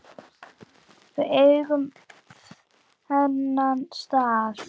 Við eigum þennan stað